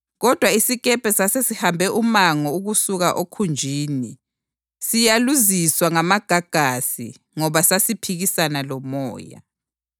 kodwa isikepe sasesihambe umango ukusuka okhunjini, siyaluziswa ngamagagasi ngoba sasiphikisana lomoya.